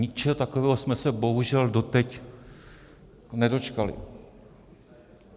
Ničeho takového jsme se bohužel doteď nedočkali.